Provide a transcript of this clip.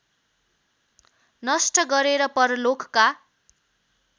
नष्ट गरेर परलोकका